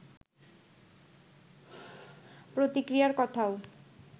প্রতিক্রিয়ার কথাও